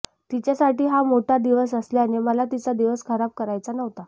तिच्यासाठी हा मोठा दिवस असल्याने मला तिचा दिवस खराब करायचा नव्हता